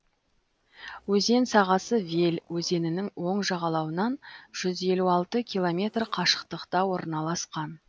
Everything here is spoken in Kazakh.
өзен сағасы вель өзенінің оң жағалауынан жүз елу алты километр қашықтықта орналасқан